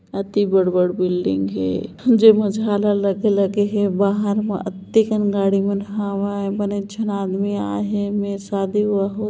अती बड़ बड़ बिलडिंग हे जेमे झालर लगे लगे हे बाहर मा अति कंगाड़ी मन हावे बन एकझन आदमी आये हे में शादी वा हो --